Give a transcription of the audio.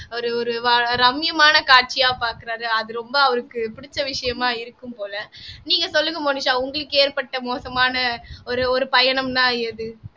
ஒரு ஒரு வ ரம்மியமான காட்சியா பார்க்கிறாரு அது ரொம்ப அவருக்கு பிடிச்ச விஷயமா இருக்கும் போல நீங்க சொல்லுங்க மோனிஷா உங்களுக்கு ஏற்பட்ட மோசமான ஒரு ஒரு பயணம்ன்னா எது